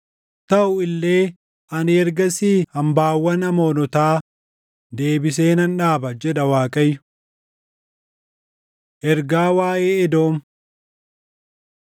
“Taʼu illee ani ergasii hambaawwan Amoonotaa deebisee nan dhaaba” jedha Waaqayyo. Ergaa Waaʼee Edoom 49:9‑10 kwf – Abd 5–6 49:14‑16 kwf – Abd 1–4